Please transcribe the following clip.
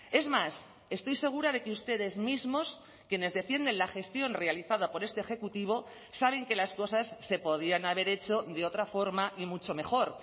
es más estoy segura de que ustedes mismos quienes defienden la gestión realizada por este ejecutivo saben que las cosas se podían haber hecho de otra forma y mucho mejor